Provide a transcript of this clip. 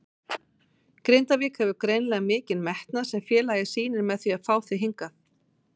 Grindavík hefur greinilega mikinn metnað sem félagið sýnir með því að fá þig hingað?